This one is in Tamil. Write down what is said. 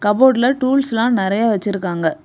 கபோர்டுல டூல்ஸ் எல்லாம் நறைய வச்சிருக்காங்க.